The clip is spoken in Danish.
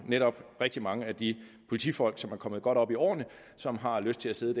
netop rigtig mange af de politifolk som er kommet godt op i årene og som har lyst til at sidde